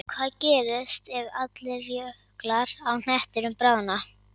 Hvað gerist ef allir jöklar á hnettinum bráðna?